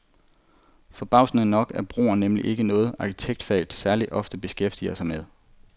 Forbavsende nok er broer nemlig ikke noget, arkitektfaget særligt ofte beskæftiger sig med.